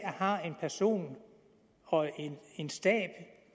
har en person og en stab